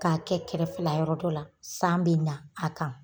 K'a kɛ kɛrɛ fɛla yɔrɔ dɔ la, san bɛ na a kan.